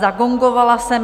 Zagongovala jsem.